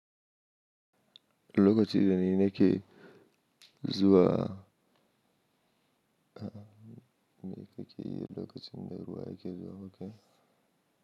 Lokacin da nake zuwa, me kake yi? Lokacin da ruwa yake zuwa kake.